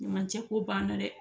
Ɲuman cɛ ko b'an na dɛ